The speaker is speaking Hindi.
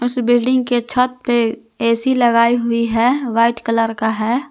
उस बिल्डिंग के छत पे ए_सी लगायी हुई है व्हाइट कलर का है।